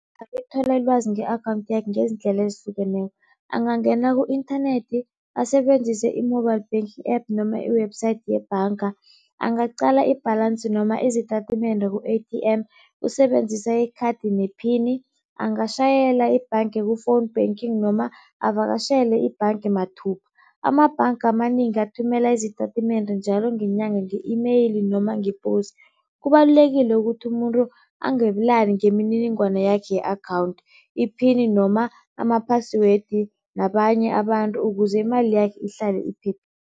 Ilwazi nge-akhawunthi yakhe ngezindlela ezihlukeneko. Angangena ku-inthanethi, asebenzise i-mobile banking app noma i-website yebhanga, angaqala i-balance noma izitatimende ku-A_T_M usebenzisa ikhathi nephini. Angatjhayela ibhanga ku-phone banking noma avakatjhele ibhanga mathubha. Amabhanga amanengi athumela izitatimende njalo ngenyanga nge-email noma ngeposi. Kubalulekile ukuthi umuntu ngemininingwana yakhe ye-akhawunthi, iphini noma ama-password nabanye abantu ukuze imali yakhe ihlale iphephile.